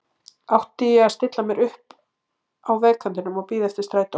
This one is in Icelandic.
Átti ég að stilla mér upp á vegarkantinum og bíða eftir strætó?